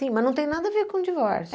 Tem, mas não tem nada a ver com divórcio.